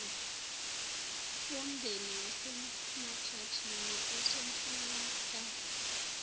womndeni wasemajajini usonhlalakahle